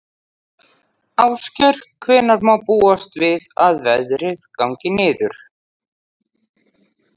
Ásgeir, hvenær má búast við að veðrið gangi niður?